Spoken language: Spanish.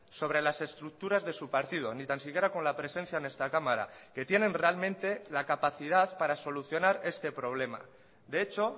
sobre las estructuras de su partido ni tan siquiera con la presencia en esta cámara que tienen realmente la capacidad para solucionar este problema de hecho